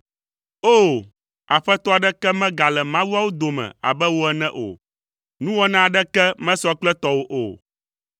O! Aƒetɔ aɖeke megale mawuawo dome abe wò ene o; nuwɔna aɖeke mesɔ kple tɔwò o.